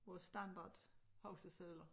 Vores standard huskesedler